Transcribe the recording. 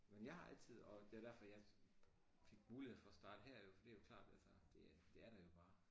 Men jeg har altid og det derfor jeg fik mulighd for at starte her jo for det klart altså det det er der jo bare